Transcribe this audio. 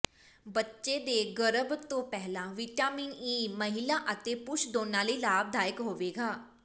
ਬੱਚੇ ਦੇ ਗਰਭ ਤੋਂ ਪਹਿਲਾਂ ਵਿਟਾਮਿਨ ਈ ਮਹਿਲਾ ਅਤੇ ਪੁਰਸ਼ ਦੋਨਾਂ ਲਈ ਲਾਭਦਾਇਕ ਹੋਵੇਗਾ